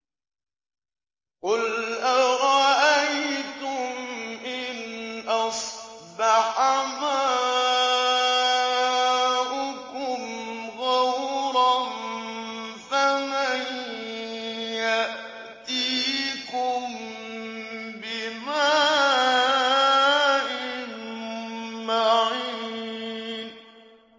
قُلْ أَرَأَيْتُمْ إِنْ أَصْبَحَ مَاؤُكُمْ غَوْرًا فَمَن يَأْتِيكُم بِمَاءٍ مَّعِينٍ